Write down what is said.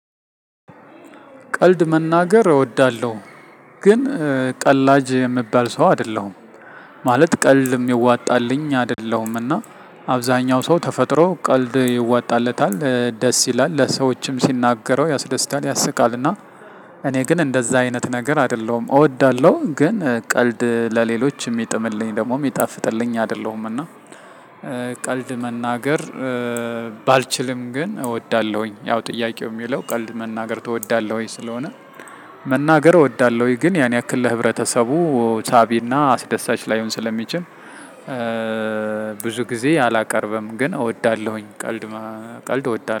ቀልድ መናገር እወዳለሁ። ግን ቀላጅ እምባል ሰው አደለሁም ማለት ቀልድም እዋጣልኝ አይደለሁምና። አብዛኛው ሰው ተፈጥሮ ቀልድ ይዋጣለታል ደስ ይላል ለሰዎችም ሲናገረው ያስደስታል ያስቃልና። እኔ ግን አዳዛ አይነት ነገር አይደለሁም እወዳለሁ ግን ቀልድ ለሌሎች እሚጥምልኝ ወይም ደሞ እሚጣፍጥልኝ አይደለሁም እና። ቀልድ መናገር ባልችልም ግን እወዳለሁኝ። ያው ጥያቄው እሚለው ቀልድ መናገር ትወዳለህ? ወይ ስለሆነ። መናገር እወዳለሁ ወይ ግን ያን ያክል ለህብረተሰቡ ሳቢና አስደሳች ላይሆን ስለሚችል። ብዙ ጊዜ አላቀርብም ግን እወዳለሁኝ ቀልድ ቀልድ እወዳለሁኝ